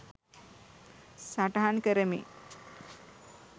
සටහන් කරමි.